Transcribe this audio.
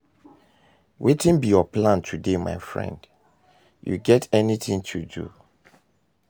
wetin be your plan today, my friend, you get anything to do?